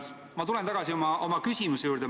Ma tulen tagasi oma küsimuse juurde.